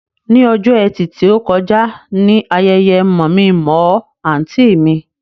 Ní ọjọ́ ẹtì tí ó kọjá ni ayẹyẹ mọ̀-mí-n-mọ̀-ọ́ àǹtí mi